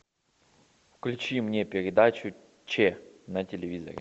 включи мне передачу че на телевизоре